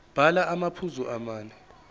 bhala amaphuzu amane